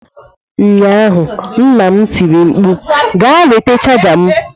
Ụnyaahụ nna m tiri mkpu "Gaa nweta chaja m!"